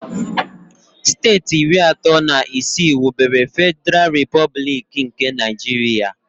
Steeti iri atọ na isii wubere Fediral Replublik nke Naijiria